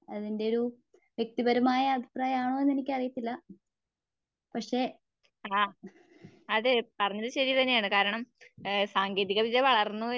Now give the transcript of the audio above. അതിന്റെയൊരു വ്യക്തിപരമായ അഭിപ്രായമാനൊന്നെനിക്കറിയാത്തില്ല. പക്ഷേ